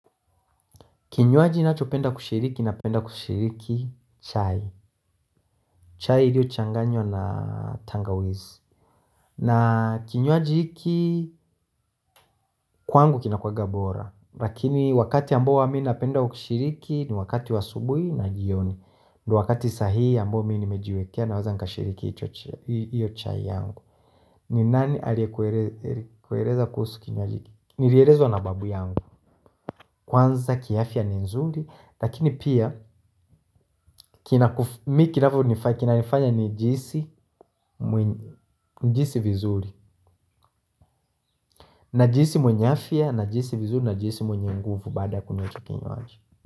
Kinywaji nacho penda kushiriki napenda kushiriki chai. Chai ilio changanywa na tangawezi. Na kinywaji hiki, kwangu kinakuaga bora. Lakini wakati ambao huwa mii napenda kushiriki ni wakati wa asubuhi na jioni. Ndo wakati sahii ambao mii nimejiwekea na waza nka shiriki hiyo chai yangu. Ni nani aliekuereza kuhusu kinywaji. Nilierezo na babu yangu. Kwanza ki afia ni nzuri, lakini pia kina nifanya nijiisi vizuri. Najiisi mwenye afia, najiisi vizuri, najiisi mwenye nguvu baada kunywa icho kinywaji.